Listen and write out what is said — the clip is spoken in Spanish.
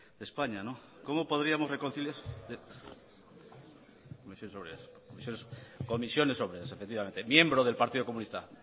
de españa cómo podríamos reconciliarnos berbotsa efectivamente miembro del partido comunista